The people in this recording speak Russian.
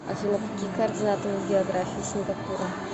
афина какие координаты у география сингапура